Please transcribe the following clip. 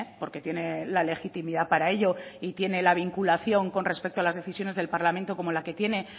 porque tiene la legitimidad para ello y tiene la vinculación con respecto a las decisiones del parlamento como la que tiene